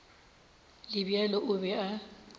le bjalo o be a